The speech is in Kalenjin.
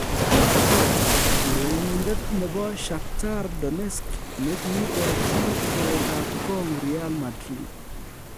Teta: urerenindet nebo Shakhtar Donetsk ne kiigochi keretab kong Real Madrid